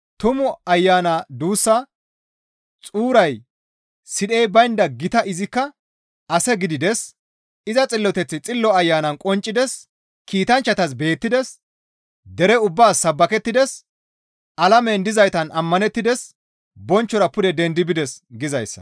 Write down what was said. Tumu Ayana duussa xuuray sidhey baynda gita; izikka, «Ase gidides; iza Xilloteththi Xillo Ayanan qonccides; kiitanchchatas beettides; dere ubbaas sabbakettides; alamen dizaytan ammanettides; bonchchora pude dendi bides» gizayssa.